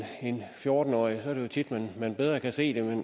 fjorten årig er det jo tit at man bedre kan se det